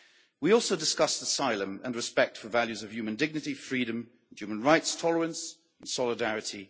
We also discussed asylum and respect for values of human dignity, freedom and human rights, tolerance and solidarity.